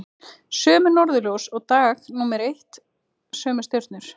Sömu norðurljós og dag númer eitt, sömu stjörnur.